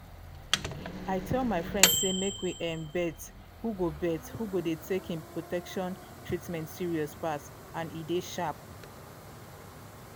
i tell my friends say make we um bet who go bet who go dey take em protection treatment serious pass and e dey sharp